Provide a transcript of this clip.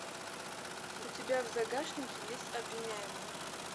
у тебя в загашнике есть обвиняемые